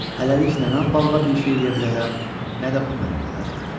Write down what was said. Hələlik nə mən balığa bir şey eləyə bilərəm, nə də o mənimlə bacarır.